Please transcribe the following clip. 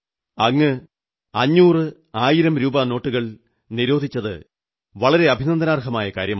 അങ്ങ് അഞ്ഞൂറ് ആയിരം രൂപാ നോട്ടുകൾ നിരോധിച്ചത് വളരെ അഭിനന്ദനാർഹമായ കാര്യമാണ്